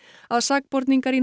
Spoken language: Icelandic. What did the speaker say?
að sakborningar í